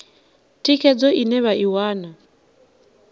thikhedzo ine vha i wana